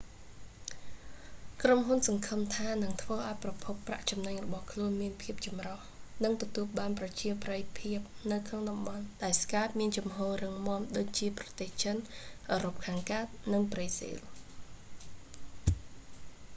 ក្រុមហ៊ុនសង្ឃឹមថានឹងធ្វើឱ្យប្រភពប្រាក់ចំណេញរបស់ខ្លួនមានភាពចម្រុះ និងទទួលបានប្រជាប្រិយភាពនៅក្នុងតំបន់ ដែលស្កែព skype មានជំហររឹងមាំ ដូចជាប្រទេសចិន អឺរ៉ុបខាងកើត និងប្រេស៊ីល